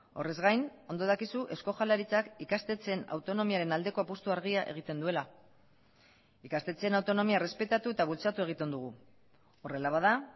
horrez gain ondo dakizu eusko jaurlaritzak ikastetxeen autonomiaren aldeko apustu argia egiten duela ikastetxeen autonomia errespetatu eta bultzatu egiten dugu horrela bada